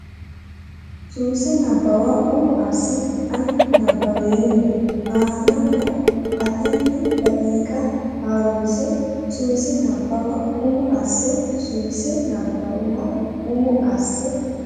Suwise Nabbawa umo asse ani nabbaweemmo ana la atenni daqiiqa ha runse Suwise Nabbawa umo asse Suwise Nabbawa umo asse.